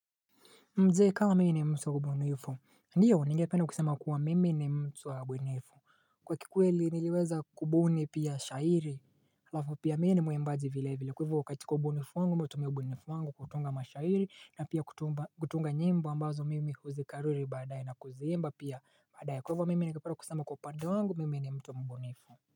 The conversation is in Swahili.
Mdzee kama mii ni mtu wa mbunifu Ndiyo ningependa kusema kuwa mimi ni mtu wa bwenefu Kwa kikweli niliweza kubuni pia shairi Halafu pia mii ni muembaji vile vile kwa ivo wakati kubunifu wangu mi utumia bwenefu wangu kutunga mashairi na pia kutumba kutunga nyimbo ambazo mimi huzikariri baadaye na kuziimba pia baadaye kwa ivo mimi ningepera kusema kwa upande wangu mimi ni mtu mbunifu.